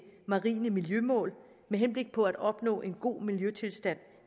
marine miljømål med henblik på at opnå en god miljøtilstand